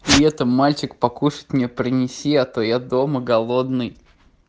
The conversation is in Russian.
при этом мальчик покушать мне принести а то я дома голодный